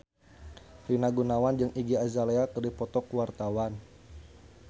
Rina Gunawan jeung Iggy Azalea keur dipoto ku wartawan